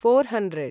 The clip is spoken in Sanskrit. four hundred